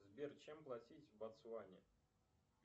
сбер чем платить в ботсване